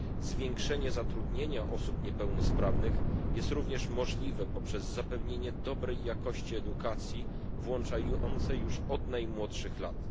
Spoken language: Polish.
Zwiększenie zatrudnienia osób niepełnosprawnych jest również możliwe poprzez zapewnienie dobrej jakości edukacji włączającej już od najmłodszych lat.